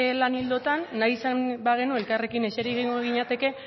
lan ildotan nahi izan bagenu elkarrekin exeri egingo ginateke